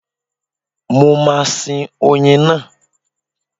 Mo máa sin oyin náà.